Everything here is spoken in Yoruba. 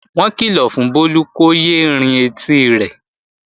Wọ́n kìlọ̀ fún Bólú kó yé é rin etí rẹ̀